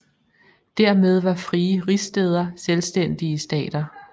Dermed var frie rigsstæder selvstændige stater